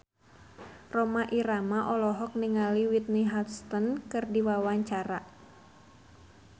Rhoma Irama olohok ningali Whitney Houston keur diwawancara